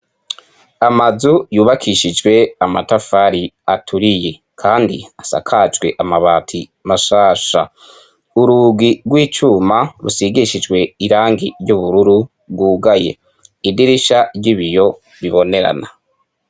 Amazu yubakishijwe amatafari aturiye, kandi asakajwe amabati mashasha urugi rw'icuma rusigishijwe irangi ry'ubururu rwugaye idirisha ry'ibiyo bibonerana.